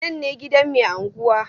Nan ne gidan mai anguwa?